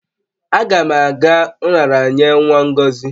Aga m aga nraranye nwa Ngozi